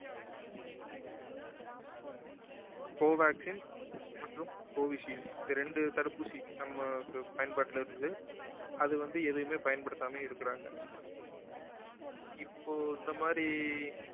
covaxin மற்றும் covid shield இந்த ரெண்டு தடுப்பூசி நம்ம ப~ பயன்பாட்டில இருந்தது அது வந்து எதயுமே பயன்படுத்தாம இருக்குறாங்க இப்போ இந்த மாதிரி